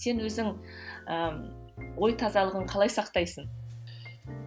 сен өзің і ой тазалығын қалай сақтайсың